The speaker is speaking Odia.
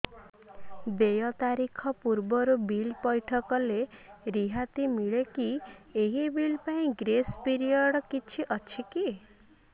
ଦେୟ ତାରିଖ ପୂର୍ବରୁ ବିଲ୍ ପୈଠ କଲେ ରିହାତି ମିଲେକି ଏହି ବିଲ୍ ପାଇଁ ଗ୍ରେସ୍ ପିରିୟଡ଼ କିଛି ଅଛିକି